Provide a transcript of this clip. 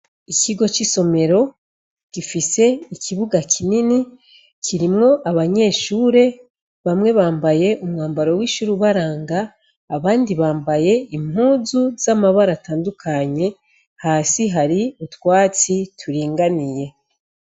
Ikigo c'isomera gifise ikibuga kinini, kirimwo abanyeshure bamwe bambaye umwambaro w'ishure ubaranga, abandi bambaye impuzu z'amabara atandukanye hasi hari utwatsi turinganiye.